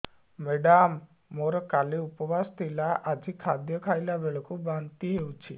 madam ମୋର କାଲି ଉପବାସ ଥିଲା ଆଜି ଖାଦ୍ୟ ଖାଇଲା ବେଳକୁ ବାନ୍ତି ହେଊଛି